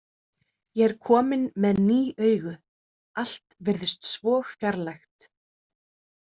Ég er kominn með ný augu, allt virðist svo fjarlægt.